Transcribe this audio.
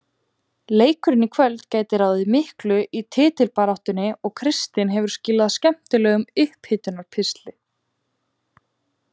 Leikurinn í kvöld gæti ráðið miklu í titilbaráttunni og Kristinn hefur skilað skemmtilegum upphitunar pistli.